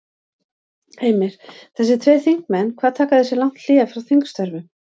Heimir: Þessir tveir þingmenn hvað taka þeir sér lang hlé frá þingstörfum?